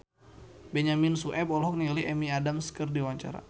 Benyamin Sueb olohok ningali Amy Adams keur diwawancara